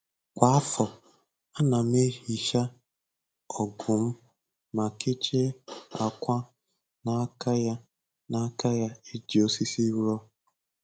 Kwa afọ, ana m ehicha ọgụ m ma kechie ákwà n'aka ya n'aka ya e ji osisi rụọ.